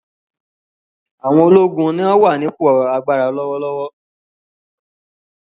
Àwọn ológun ni wọ́n wà ní ipò agbára lọ́wọ́lọ́wọ́.